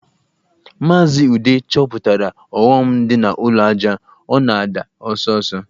Maazị Ude chọpụtara ọghọm dị na ụlọ ajá, ọ na-ada ọsọ ọsọ